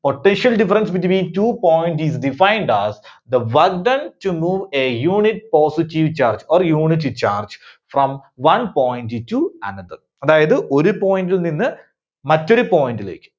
Potential difference between two point is defined as the work done to move a unit positive charge or unit charge from one point to another. അതായത് ഒരു point ൽ നിന്ന് മറ്റൊരു point ലേക്ക്